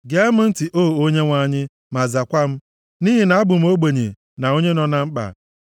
Gee m ntị, O Onyenwe anyị, ma zakwa m, nʼihi na abụ m ogbenye na onye nọ na mkpa.